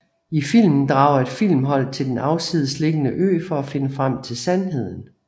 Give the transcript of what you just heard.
I filmen drager et filmhold til den afsidesliggende ø for at finde frem til sandheden